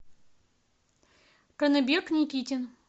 канабек никитин